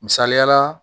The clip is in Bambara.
Misaliyala